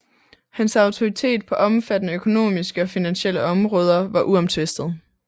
Hans autoritet på omfattende økonomiske og finansielle områder var uomtvistet